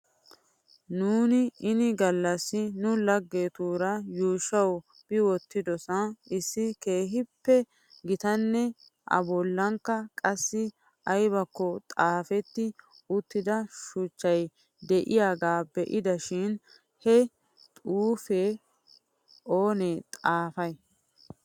Nuuni ini gallassi nu laggetuura yuushshw biwttidosa issi keehippe gitanne abollankka qassi aybakko xaafetti uttido shuchchay de'iyaagaa be'ida shin he xuufiyaa oonee xaafay?